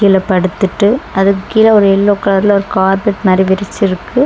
கீழ படுத்துட்டு அதுக் கீழ ஒரு எல்லோ கலர்ல ஒரு கார்பெட் மாரி விரிச்சிருக்கு.